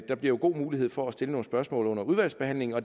der bliver jo god mulighed for at stille nogle spørgsmål under udvalgsbehandlingen og